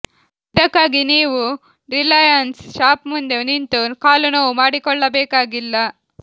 ಇದಕ್ಕಾಗಿ ನೀವು Reliance shop ಮುಂದೆ ನಿಂತು ಕಾಲು ನೋವು ಮಾಡಿಕೊಳ್ಳಬೇಕಾಗಿಲ್ಲ